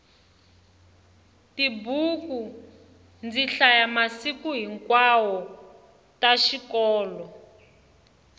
tibuku ndzi hlaya masiku hinkwawo ta xikolo